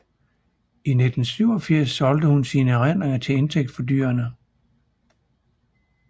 I 1987 solgte hun sine erindringer til indtægt for dyrene